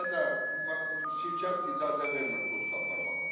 Bizə də şirkət icazə vermir pulsuz aparmağa.